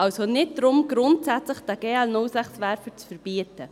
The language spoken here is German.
Es geht also nicht darum, diesen GL06-Werfer zu verbieten.